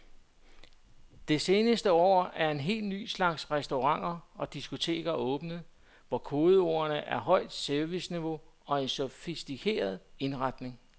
Det seneste år er en helt ny slags restauranter og diskoteker åbnet, hvor kodeordene er højt serviceniveau og en sofistikeret indretning.